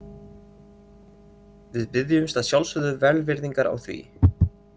Við biðjumst að sjálfsögðu velvirðingar á því.